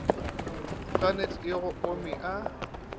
swanet e go omi a